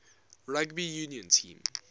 rugby union team